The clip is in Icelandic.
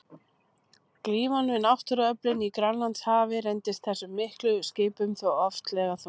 Glíman við náttúruöflin í Grænlandshafi reyndist þessum miklu skipum þó oftlega þung.